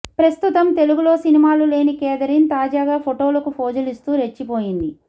ప్రస్తుతం తెలుగులో సినిమాలు లేని కేథరిన్ తాజాగా ఫోటోలకు పోజులిస్తూ రెచ్చిపోయింది